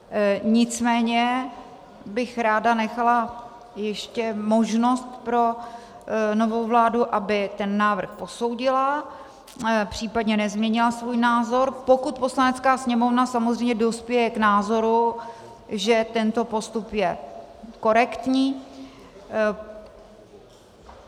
Nicméně bych ráda nechala ještě možnost pro novou vládu, aby ten návrh posoudila, příp. nezměnila svůj názor, pokud Poslanecká sněmovna samozřejmě dospěje k názoru, že tento postup je korektní.